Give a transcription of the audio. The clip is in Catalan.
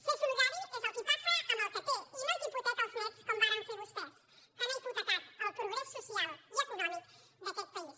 ser solidari és el qui passa amb el que té i no el que hipoteca els néts com varen fer vostès que han hipotecat el progrés social i econòmic d’aquest país